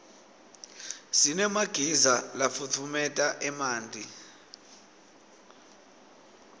sinemagiza lafutfumeta emanti